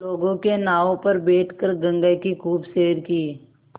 लोगों के नावों पर बैठ कर गंगा की खूब सैर की